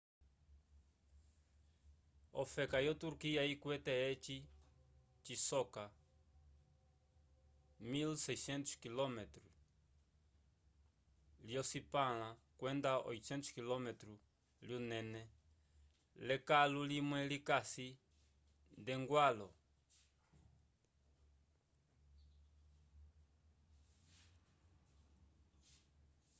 ofefa yo turquia ikwete eci cisoka 1.600 km lyocipãla kwenda 800 km lyunene l'ekalo limwe likasi nd'eñgwãlo